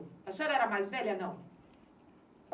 A senhora era mais velha ou não?